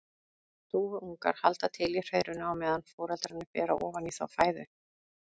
Dúfuungar halda til í hreiðrinu á meðan foreldrarnir bera ofan í þá fæðu.